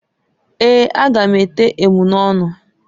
Eeǃ A ga m ete emunọnụ.